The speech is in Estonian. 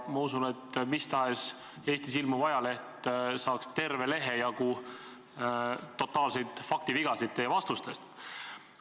Ma usun, et mis tahes Eestis ilmuv ajaleht saaks kirja terve lehe jagu totaalseid faktivigasid teie vastustest.